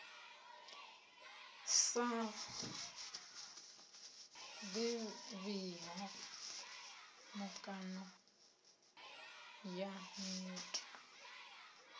sa ḓivhiho mikano ya nyito